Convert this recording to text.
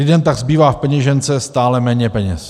Lidem tak zbývá v peněžence stále méně peněz.